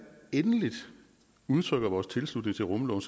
endeligt udtrykker vores tilslutning til rumloven